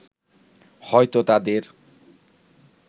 হয়তো তাদের